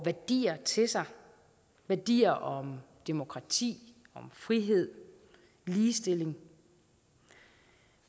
værdier til sig værdier om demokrati om frihed ligestilling